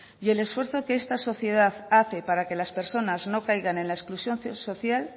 y el esfuerzo que esta sociedad hace para que las personas no caigan en la exclusión social